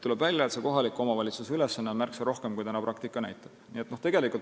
Tuleb välja, et kohaliku omavalitsuse ülesanne on märksa suurem, kui praktika näitab.